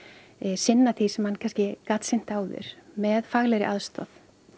sinna því sem hann kannski gat sinnt áður með faglegri aðstoð